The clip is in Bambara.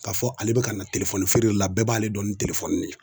K'a fɔ ale bɛ ka telefɔni feere de la bɛɛ b'ale dɔn ni de ye